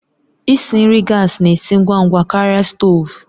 Isi nri gas na-esi ngwa ngwa karịa stovu